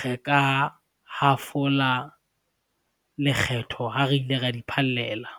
re ka hafola lekgetho, ha re ile ra di phallela.